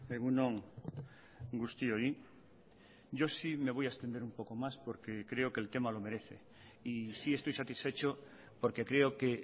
egun on guztioi yo sí me voy a extender un poco más porque creo que el tema lo merece y sí estoy satisfecho porque creo que